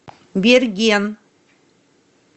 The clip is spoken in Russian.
берген